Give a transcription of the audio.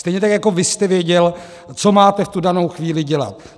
Stejně tak jako vy jste věděl, co máte v tu danou chvíli dělat.